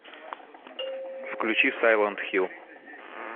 включи сайлент хилл